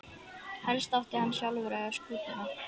Helst átti hann sjálfur að eiga skútuna.